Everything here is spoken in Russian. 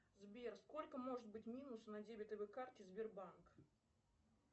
сбер сколько может быть минус на дебетовой карте сбербанк